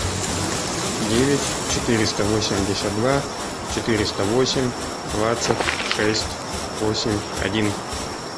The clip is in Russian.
девять четыреста восемьдесят два четыреста восемь двадцать шесть восемь один